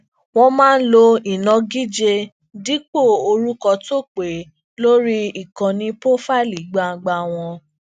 wón máa ń lo inagije dípò orúkọ tó pé lori ìkànnì pofaili gbangba wọn